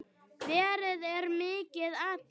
Veðrið er mikið atriði.